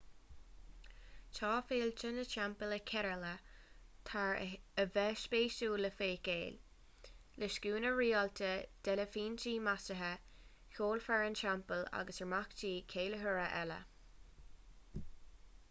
tá féilte na dteampall i kerala thar a bheith spéisiúil le feiceáil le scuaine rialta d'eilifintí maisithe ceolfhoireann teampaill agus imeachtaí ceiliúrtha eile